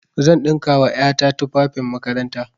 Zan ɗinka wa ƴa ta tufafin makaranta.